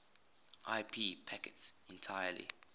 ip packets entirely